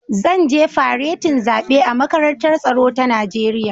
Zan je faretin zaɓe a Makarantar Tsaro ta Najeriya